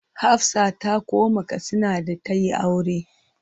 Hafsah ta koma Katsina da ta yi aure.